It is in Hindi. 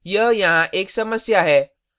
यह यहाँ एक समस्या है